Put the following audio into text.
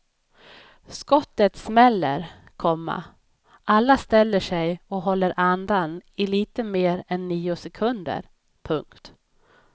Skottet smäller, komma alla ställer sig och håller andan i lite mer än nio sekunder. punkt